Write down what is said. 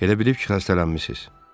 Elə bilib ki, xəstələnmisiz.